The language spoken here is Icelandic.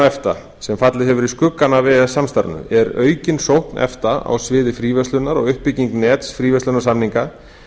efta sem fallið hefur í skuggann af e e s samstarfinu er aukin sókn efta á sviði fríverslunar og uppbygging nets fríverslunarsamninga